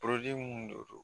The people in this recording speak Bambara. minnu de don